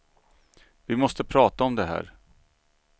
Vi måste prata om det här.